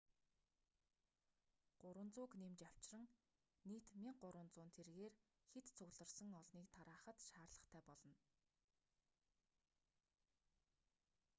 300-г нэмж авчран нийт 1,300 тэргээр хэт цугларсан олныг тараахад шаардлагатай болно